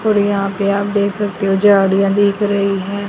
और यहां पे आप देख सकते हो झाड़ियां दिख रही हैं।